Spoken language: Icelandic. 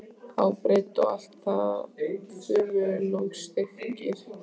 á breidd og allt að þumlungsþykkir.